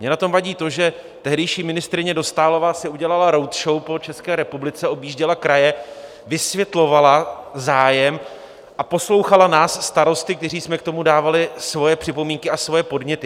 Mně na tom vadí to, že tehdejší ministryně Dostálová si udělala roadshow po České republice, objížděla kraje, vysvětlovala, zájem, a poslouchala nás starosty, kteří jsme k tomu dávali svoje připomínky a svoje podněty.